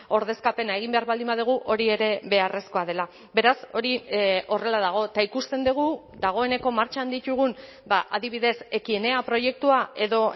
ordezkapena egin behar baldin badugu hori ere beharrezkoa dela beraz hori horrela dago eta ikusten dugu dagoeneko martxan ditugun adibidez ekienea proiektua edo